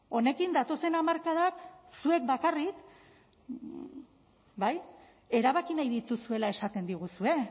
honekin datozen hamarkadak zuek bakarrik bai erabaki nahi dituzuela esaten diguzue